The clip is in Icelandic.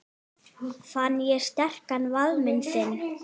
Fann ég sterkan faðminn þinn.